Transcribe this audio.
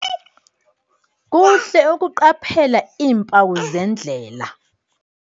Kuhle ukuqaphela iimpawu zendlela.